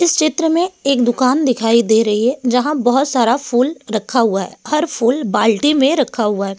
इस चित्र में एक दुकान दिखाई दे रही है जहां बहुत सारा फूल रखा हुआ है हर फूल बाल्टी में रखा हुआ है।